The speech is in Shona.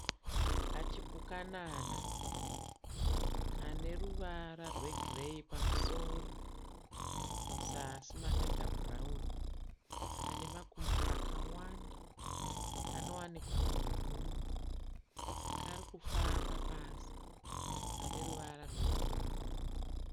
Kachipukanana kane ruvara rwegireyi pamusoro muzasi makaita bhurauni. Kane makumbo akawanda. Kanowanikwa muhuni. Kari kufamba pasi pane ruvara rwepfumbu.